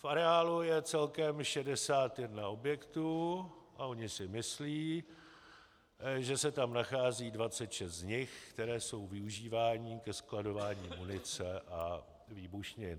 V areálu je celkem 61 objektů a oni si myslí, že se tam nachází 26 z nich, které jsou využívány ke skladování munice a výbušnin.